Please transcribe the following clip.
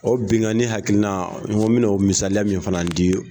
O bingani hakilina n ko min o misaliya min fana di.